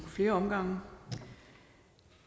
flere omgange